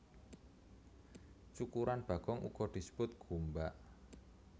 Cukuran bagong uga disebut gombak